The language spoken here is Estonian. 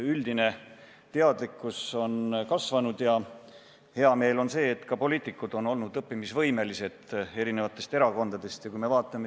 Üldine teadlikkus on kasvanud ja hea meel on ka selle üle, et eri erakondade poliitikud on olnud õppimisvõimelised.